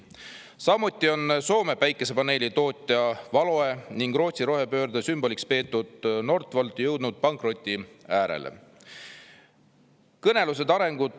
Samuti on Soome päikesepaneelide tootja Valoe ning Rootsi rohepöörde sümboliks peetud Northvolt jõudnud pankroti äärele.